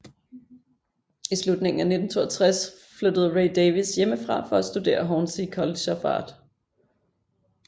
I slutningen af 1962 flyttede Ray Davies hjemmefra for at studere Hornsey College of Art